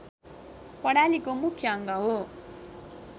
प्रणालीको मुख्य अङ्ग हो